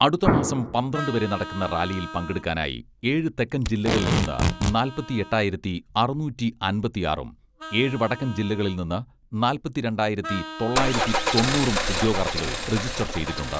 അടുത്ത മാസം പന്ത്രണ്ട് വരെ നടക്കുന്ന റാലിയിൽ പങ്കെടുക്കാനായി ഏഴു തെക്കൻ ജില്ലകളിൽ നിന്ന് നാൽപ്പത്തി എട്ടായിരത്തി അറുനൂറ്റി അമ്പത്തിയാറും ഏഴു വടക്കൻ ജില്ലകളിൽ നിന്ന് നാൽപ്പത്തി രണ്ടായിരത്തി തൊള്ളായിരത്തി തൊണ്ണൂറും ഉദ്യോഗാർഥികൾ രജിസ്റ്റർ ചെയ്തിട്ടുണ്ട്.